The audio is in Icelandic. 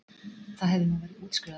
Það hefur nú verið útskrifað